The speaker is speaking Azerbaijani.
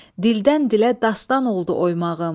Dildən-dilə dastan oldu oymağım.